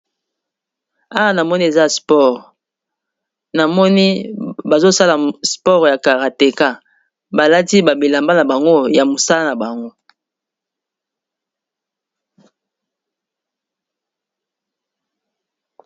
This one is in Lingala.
Awa namoni eza sport namoni bazosala sport ya karateka balati ba bilamba na bango ya mosala na bango.